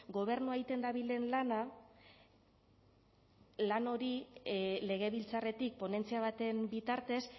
gobernua egiten dabilen lana lan hori legebiltzarretik ponentzia baten bitartez